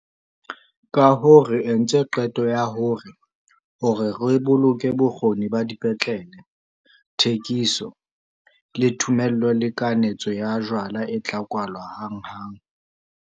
Kahoo re entse qeto ya hore, hore re boloke bokgoni ba dipetlele, thekiso, le thomello le kanetso ya jwala e tla kwalwa hanghang.